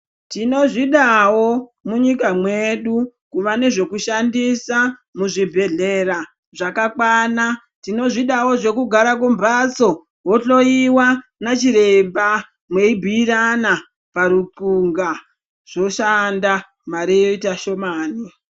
Tinozvidawo munyika mwedu kuwa nezvekushandisa muzvibhedhlera zvakakwana tozvidawo zvekugara kumhatso wohloiwa nana chiremba meibhuirana parupunga zvoshanda mari yoita shomana.